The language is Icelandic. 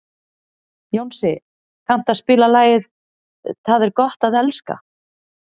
Jónsi, kanntu að spila lagið „Tað er gott at elska“?